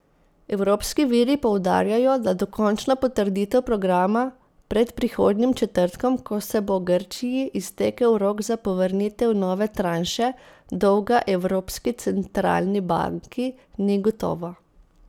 Evropski viri poudarjajo, da dokončna potrditev programa pred prihodnjim četrtkom, ko se bo Grčiji iztekel rok za povrnitev nove tranše dolga Evropski centralni banki, ni gotova.